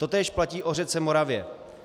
Totéž platí o řece Moravě.